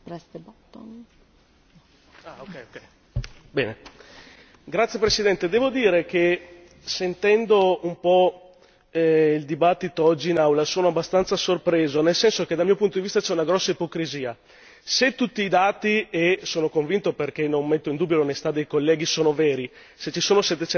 Signora Presidente, onorevoli colleghi, devo dire che, sentendo un po' il dibattito oggi in Aula, sono abbastanza sorpreso, nel senso che dal mio punto di vista c'è una grossa ipocrisia. Se tutti i dati e ne sono convinto perché non metto in dubbio l'onestà dei colleghi sono veri, se ci sono